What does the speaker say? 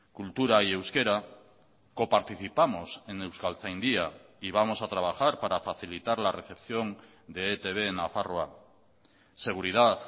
cultura y euskera coparticipamos en euskaltzaindia y vamos a trabajar para facilitar la recepción de etb en nafarroa seguridad